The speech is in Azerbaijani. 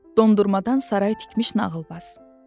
Dondurmadan saray tikmiş nağılbaz.